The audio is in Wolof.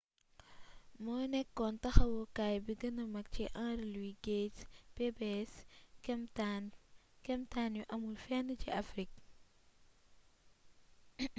moo nekkoon taxawukaay bi gëna mag ci henry louis gates'pbs kemtaan yu amul fenn ci afrik